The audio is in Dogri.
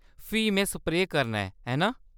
फ्ही में स्प्रेऽ करना ऐ, है ना ?